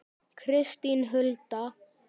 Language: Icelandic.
Kristín Hulda.